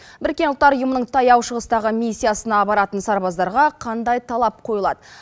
біріккен ұлттар ұйымының таяу шығыстағы миссиясына баратын сарбаздарға қандай талап қойылады